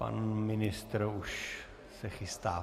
Pan ministr už se chystá.